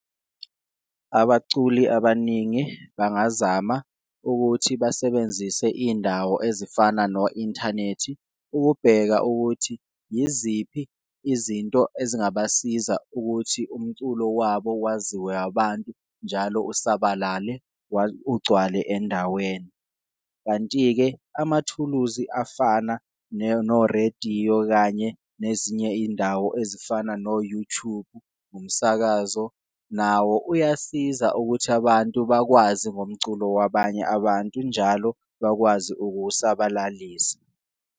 Abaculi abaningi bangazama ukuthi basebenzise iyindawo ezifana no-inthanethi, ukubheka ukuthi yiziphi izinto ezingabasiza ukuthi umculo wabo waziwe abantu njalo usabalale ugcwale endaweni. Kanti-ke amathuluzi afana norediyo kanye nezinye iyindawo ezifana no-YouTube, umsakazo nawo uyasiza ukuthi abantu bakwazi ngomculo wabanye abantu, njalo bakwazi ukuwusabalalisa.